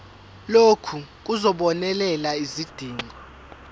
lokhu kuzobonelela izidingo